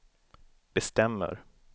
bestämmer